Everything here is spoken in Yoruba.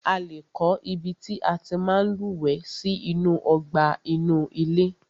A lé kọ́ ibi tí a tí máa ń lúwẹ̀ẹ́ sí inú ọgbà inú ilé.